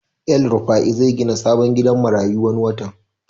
El rufai zai gina sabon gidan marayu wani watan